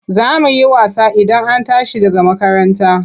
Za mu yi wasa Idan an tashi daga makaranta.